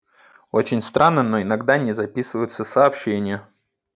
очень странно но иногда не записываются сообщение